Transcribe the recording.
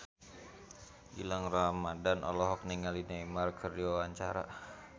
Gilang Ramadan olohok ningali Neymar keur diwawancara